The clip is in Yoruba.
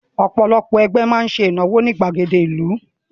Ọ̀pọ̀lọpọ̀ ẹgbẹ́ máa ń ṣe ìnáwó wọn ní ìgbàgede ìlú